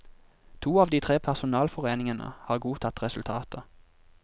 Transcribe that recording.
To av de tre personalforeningene har godtatt resultatet.